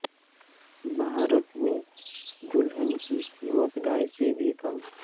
بھارت میں دلھن کی قیمت گائے سے بھی کم